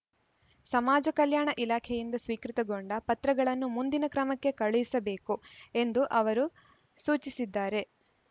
ಸಮಾಜ ಕಲ್ಯಾಣ ಇಲಾಖೆಯಿಂದ ಸ್ವೀಕೃತಗೊಂಡ ಪತ್ರಗಳನ್ನು ಮುಂದಿನ ಕ್ರಮಕ್ಕೆ ಕಳಿಸಬೇಕು ಎಂದು ಅವರು ಸೂಚಿಸಿದ್ದಾರೆ